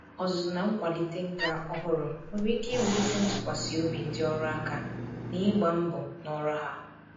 Ọzụzụ na nkwalite nka ọhụrụ nwere ike iwulite ntụkwasị obi ndị ọrụ aka ná ịgba mbọ ná ọrụ ha.